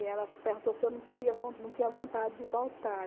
E ela perguntou se eu não teria von não tinha vontade de voltar.